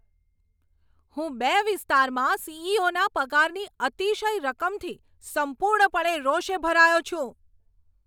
હું બે વિસ્તારમાં સી.ઈ.ઓ.ના પગારની અતિશય રકમથી સંપૂર્ણપણે રોષે ભરાયો છું.